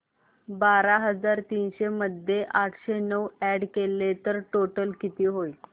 बारा हजार तीनशे मध्ये आठशे नऊ अॅड केले तर टोटल किती होईल